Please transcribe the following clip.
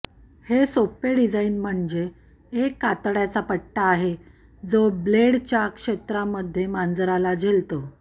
हे सोपे डिझाइन म्हणजे एक कातडयाचा पट्टा आहे जो ब्लेडच्या क्षेत्रामध्ये मांजरला झेलतो